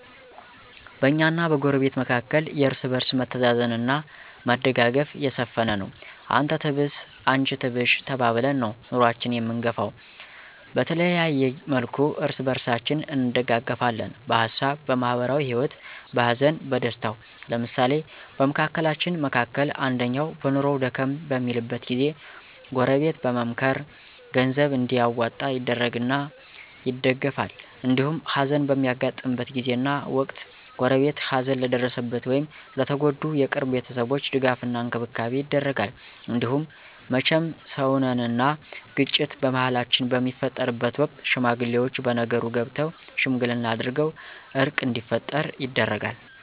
በእኛና በጎረቤት መካከል የእርስ በርስ መተዛዘን አና መደጋገፍ የሰፈነ ነው። አንተ ትብስ አንቺ ትብሽ ተባብለን ነው ኑኖአችን አምንገፈው። በተለያየ መልኩ እርስ በርሳችን እንደጋገፍለን በሀሳብ፣ በማህበራዊ ሂወት፣ በሀዘን በደስታው። ለምሳሌ በመካከላችን መካከል አንደኛው በኑኖው ደከም በሚልበት ጊዜ ጎረበት በመምካከር ገንዘብ እንዲዋጣ ይደረግና ይደገፍል። እንዲሁም ሀዘን በሚያጋጥምበት ጊዜና ወቅት ጎረቤት ሀዘን ለደረሰበት ወይም ለተጎዱ የቅርብ ቤተሰቦች ድጋፍ እና እንክብካቤ ይደረጋል። እንዲሁም መቸም ሰውነን አና ግጭት በመሀላችን በሚፈጠርበት ወቅት ሽማግሌወች በነገሩ ገብተው ሽምግልና አድርገው እርቅ እንዲፈጠር ይደረጋል።